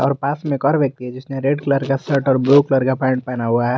उसके पास में एक और व्यक्ति है जिसने रेड कलर का शर्ट और ब्लू कलर का पेंट पहना हुआ है।